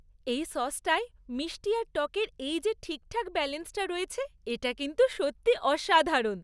এই সসটায় মিষ্টি আর টকের এই যে ঠিকঠাক ব্যালেন্সটা রয়েছে, এটা কিন্তু সত্যি অসাধারণ!